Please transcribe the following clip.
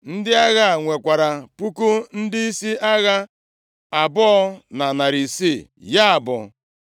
Ndị agha a nwekwara puku ndịisi agha abụọ na narị isii, ya bụ 2,600.